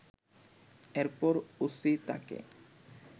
এরপর ওসি তাকে